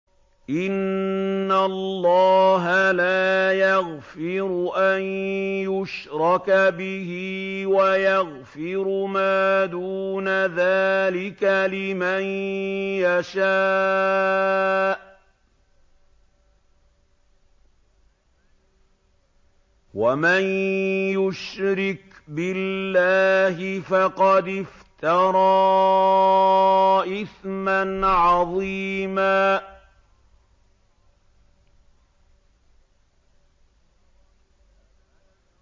إِنَّ اللَّهَ لَا يَغْفِرُ أَن يُشْرَكَ بِهِ وَيَغْفِرُ مَا دُونَ ذَٰلِكَ لِمَن يَشَاءُ ۚ وَمَن يُشْرِكْ بِاللَّهِ فَقَدِ افْتَرَىٰ إِثْمًا عَظِيمًا